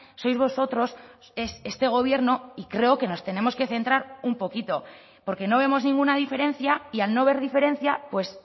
sois vosotros es este gobierno y creo que nos tenemos que centrar un poquito porque no vemos ninguna diferencia y al no ver diferencia pues